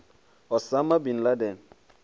osama bin laden